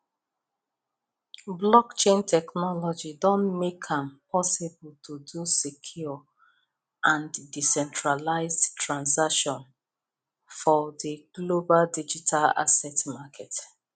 blockchain technology don make am possible to do secure and decentralized transaction for the global digital asset market